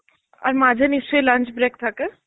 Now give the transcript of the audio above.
আর মাঝে নিশ্চয় lunch break থাকে?